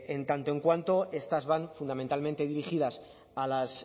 en tanto en cuanto estas van fundamentalmente dirigidas a las